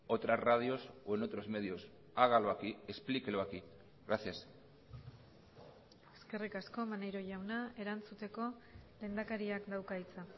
otras radios o en otros medios hágalo aquí explíquelo aquí gracias eskerrik asko maneiro jauna erantzuteko lehendakariak dauka hitza